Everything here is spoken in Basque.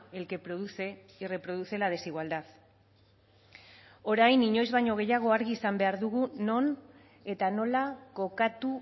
el que produce y reproduce la desigualdad orain inoiz baino gehiago argi izan behar dugu non eta nola kokatu